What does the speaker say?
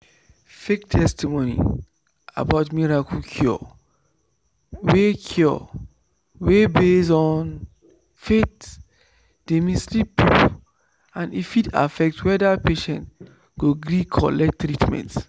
fake testimony about miracle cure wey cure wey base on faith dey mislead people and e fit affect whether patient go gree collect treatment.